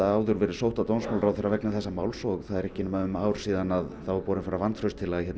áður verið sótt að dómsmálaráðherra vegna þessa máls og það er ekki nema um ár síðan það var borin fram vantrauststillaga